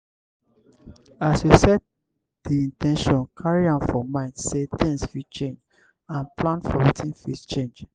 as you set di in ten tion carry am for mind sey things fit change and plan for wetin fit change